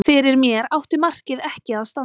Fyrir mér átti markið ekki að standa.